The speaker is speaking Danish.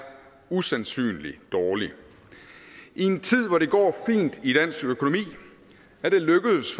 usandsynlig dårligt i en tid hvor det går fint i dansk økonomi er det lykkedes